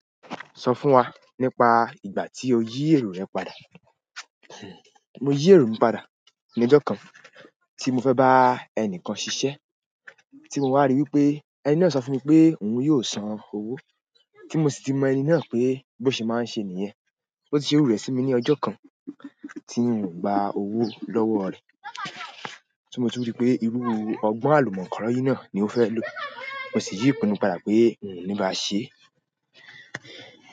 Sọ fún wa nípa ìgbà tí o yí èrò rẹ padà. Mo yí èrò mi padà ní ọjọ́ kan tí mo fẹ́ bá ẹnìkan ṣiṣẹ́ tí mo wá rí i pé ẹni náà sọ fún mi pé òun yóò san owó tí mo sì ti mọ ẹni náà pé bó ṣe máa ń ṣe nìyẹn. Ó sì ṣe iru rẹ̀ sí mi ní ọjọ́ kan tí n ò gba owó lọ́wọ́ rẹ̀. Ti mo tún rí i pé irú ọgbọ́n àlùmọ́nkọ̀róyí náà ni ó fẹ́ lò. Mo sì yí ìpinnu padà pé n ò ní bá a ṣe.